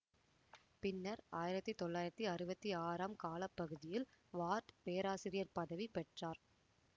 பின்னர் ஆயிரத்தி தொள்ளாயிரத்தி அறுவத்தி ஆறாம் கால பகுதியில் வார்டு பேராசிரியர்ப்பதிவி பெற்றார்